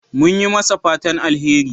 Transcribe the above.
Mun yi masa fatan alheri.